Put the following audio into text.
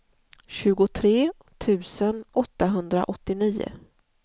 tjugotre tusen åttahundraåttionio